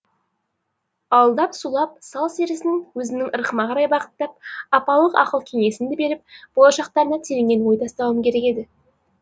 алдап сулап сал серісін өзімнің ырқыма қарай бағыттап апалық ақыл кеңесімді беріп болашақтарына тереңнен ой тастауым керек еді